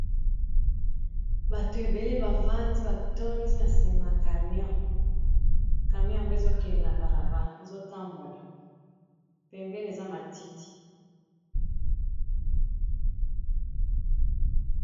bato ebele bavandi batondi na nsima camion camion yango ezokele na bala bazotambola pepene eza matiti